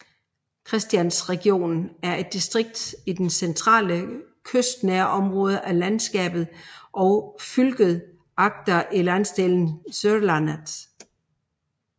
Kristiansandregionen er et distrikt i de centrale kystnære områder af landskapet og fylket Agder i landsdelen Sørlandet